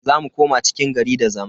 Za mu koma cikin gari da zama.